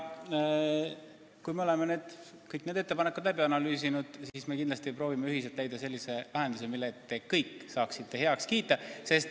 Kui me oleme kõik need ettepanekud läbi analüüsinud, siis me kindlasti proovime ühiselt leida sellise lahenduse, mille te saaksite heaks kiita.